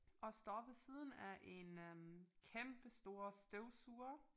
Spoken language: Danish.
Og står ved siden af en øh kæmpe stor støvsuger